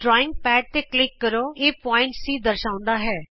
drawing pad ਤੇ click ਕਰੋਇਹ ਬਿੰਦੂ C ਦਰਸਾਉਂਦਾ ਹੈ